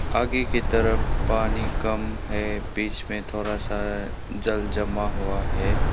आगे की तरफ पानी कम है बीच में थोड़ा सा जल जमा हुआ है।